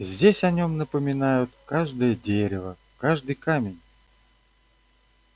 здесь о нём напоминают каждое дерево каждый камень